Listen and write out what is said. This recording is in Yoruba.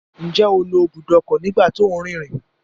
Njẹ o lo ibùdó ọkọ nígbà tí o nrinrin?